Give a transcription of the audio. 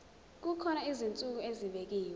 kukhona izinsuku ezibekiwe